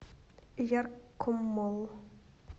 яркомолл